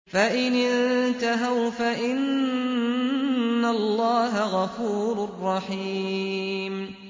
فَإِنِ انتَهَوْا فَإِنَّ اللَّهَ غَفُورٌ رَّحِيمٌ